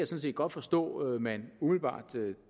set godt forstå man umiddelbart